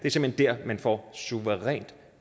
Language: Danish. man vil få suverænt